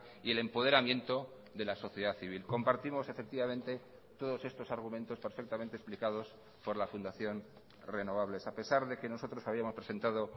y el empoderamiento de la sociedad civil compartimos efectivamente todos estos argumentos perfectamente explicados por la fundación renovables a pesar de que nosotros habíamos presentado